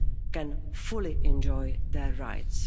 can fully enjoy their rights.